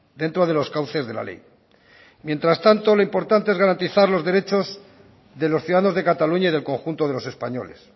dentro de los cauces de la ley mientras tanto lo importante es garantizar los derechos de los ciudadanos de cataluña y del conjunto de los españoles